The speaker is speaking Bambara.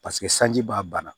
Paseke sanji b'a ban